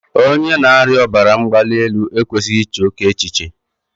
Onye na-arịa ọbara mgbali elu e kwesịghị ị che oké echiche.